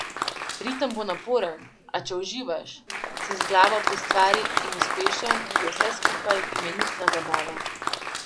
Ritem bo naporen, a če uživaš, si z glavo pri stvari in uspešen, je vse skupaj imenitna zabava.